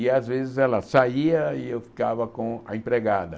E, às vezes, ela saía e eu ficava com a empregada.